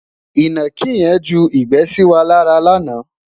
inaki yen ju igbe sí wà lára lànà